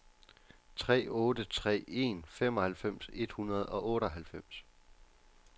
tre otte tre en femoghalvfems et hundrede og otteoghalvfems